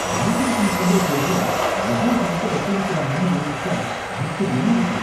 Banking ஃபீசுங்கர பேருல எவ்ளோ பணத்த வசூலிக்கறாங்கனு யோசிச்சா ஆச்சரியமா இருக்கு.